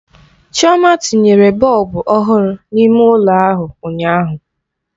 Chioma tinyere bọlbụ ọhụrụ n'ime ụlọ ahụ ụnyaahụ.